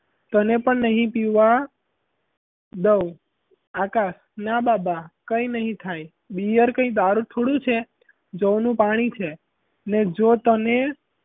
તને પણ નહીં પીવા દવ આકાશ ના બાબા કઈ ના થાય bear કઈ દારૂ થોડી છે જવનું પાણી છે લે જો તને,